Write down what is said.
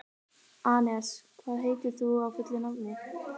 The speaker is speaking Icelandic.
Anes, hvað heitir þú fullu nafni?